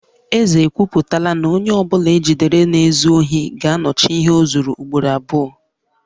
Eze ekwuputala na onye ọ bụla e jidere na-ezu ohi ga-anọchi ihe o zuru ugboro abụọ